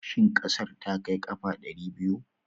Shin ƙasar ta kai ƙafa ɗari biyu?